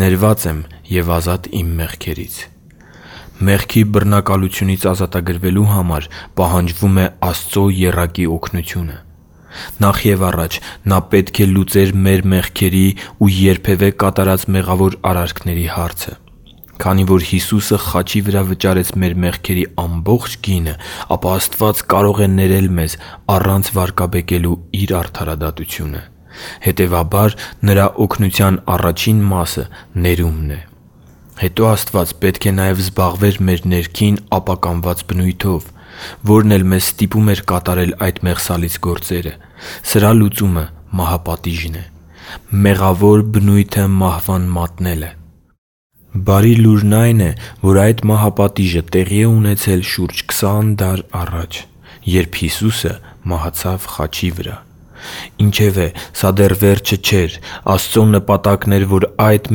ներված եմ և ազատ իմ մեղքերից Մեղքի բռնակալությունից ազատագրվելու համար պահանջվում է Աստծո եռակի օգնությունը։ Նախ և առաջ Նա պետք է լուծեր մեր մեղքերի ու երբևէ կատարած մեղավոր արարքների հարցը։ Քանի որ Հիսուսը խաչի վար վճարեց մեր մեղքի ամբողջ գինը, ապա Աստված կարող է ներել մեզ առանց վարկաբեկելու Իր արդարադատությունը։ Հետևաբար, Նրա օգնության առաջին մասը ներումն է։ Հետո, Աստված պետք է նաև զբաղվեր մեր ներքին ապականված բնույթով, որն էլ մեզ ստիպում էր կատարել այդ մեղսալից գործերը։ Սրա լուծումը մահապատիժն է՝ մեղավոր բնույթը մահվան մատնելը։ Բարի լուրն այն է, որ այդ մահապատիժը տեղի է ունեցել շուրջ 20 դար առաջ, երբ Հիսուսը մահացավ խաչի վրա։ Ինչևէ, սա դեռ վերջը չէր։ Աստծո նպատակն էր, որ այդ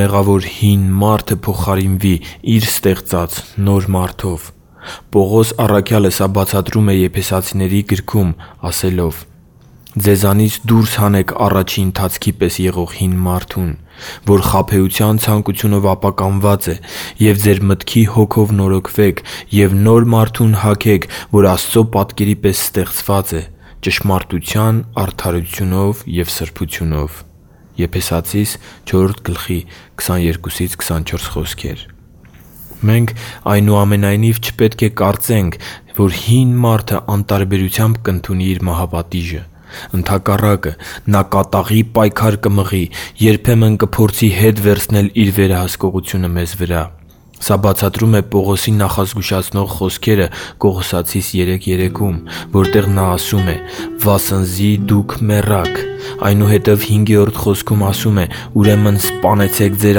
մեղավոր հին մարդը փոխարինվի Իր ստեղծած նոր մարդով։ Պողոսը սա բացատրում է Եփեսացիներին գրքում՝ ասելով. «Ձեզանից դուրս հանեք առաջի ընթացքի պես եղող հին մարդուն, որ խաբեության ցանկությունով ապականված է, և ձեր մտքի հոգով նորոգվեք և նոր մարդուն հագեք, որ Աստծո պատկերի պես ստեղծված է՝ ճշմարտության արդարությունով և սրբությունով»։ Եփեսացիներին 4:22-24 Մենք, այնուամենայնիվ, չպետք է կարծենք, որ հին մարդը անտարբերությամբ կընդունի իր մահապատիժը։ Ընդհակառակը, նա կատաղի պայքար կմղի, երբեմն կփորձի հետ վերցնել իր վերահսկողությունը մեզ վրա։ Սա բացատրում է Պողոսի նախազգուշացնող խոսքերը Կողոսացիներին 3:3-ում, որտեղ նա ասում է. «վասնզի դուք մեռաք», այնուհետև 5-րդ խոսքում ասում է. «Ուրեմն սպանեցե՛ք ձեր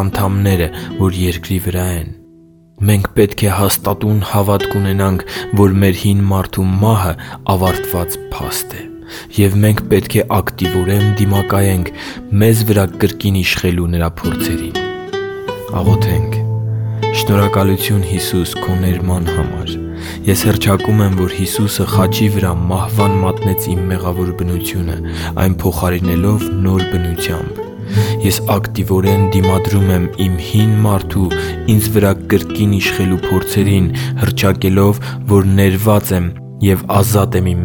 անդամները, որ երկրի վրա են»։ Մենք պետք է հաստատուն հավատք ունենանք, որ մեր հին մարդու մահը ավարտված փաստ է և մենք պետք է ակտիվորեն դիմադրենք մեզ վրա կրկին իշխելու նրա փորձերին։ Շնորհակալությու՛ն, Հիսու՛ս, քո ներման համար։ Ես հռչակում եմ, որ Հիսուսը խաչի վրա մահվան մատնեց իմ մեղավոր բնությունը՝ այն փոխարինելով նոր բնությամբ։ Ես ակտիվորեն դիմադրում եմ իմ հին մարդու՝ ինձ վրա կրկին իշխելու փորձերին՝ հռչակելով, որ ներված եմ և ազատ եմ իմ